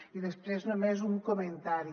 i després només un comentari